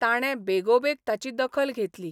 ताणे बेगोबेग ताची दखल घेतली.